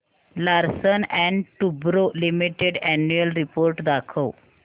Larsen and टुर्बो limited annual report दाखव